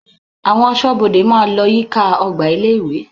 Àwọn aṣọ́bodè máa lọ yíká ọgbà ilé-ìwé.